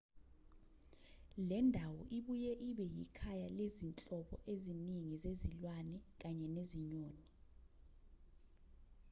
lendawo ibuye ibe yikhaya lezinhlobo ezingi zezilwane kanye nezinyoni